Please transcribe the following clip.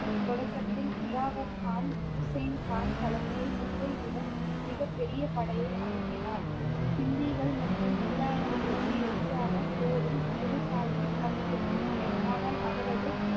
தொடக்கத்தில் கிளாவர் கான், உசேன் கான் தலைமையில் முன்பைவிட மிகப் பெரிய படையை அனுப்பினார் பிண்டிகள் மற்றும் முகலாயர்களுக்கு எதிரான போரில் குரு சாஹிப் பங்கேற்கவில்லை ஆனால் அவரது